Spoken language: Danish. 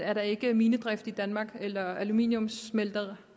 er der ikke minedrift i danmark eller aluminiumssmelteværker